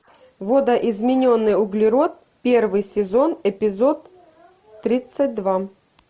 видоизмененный углерод первый сезон эпизод тридцать два